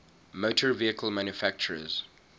motor vehicle manufacturers